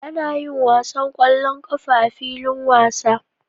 Ana yin wasan ƙwallon ƙafa a filin wasa.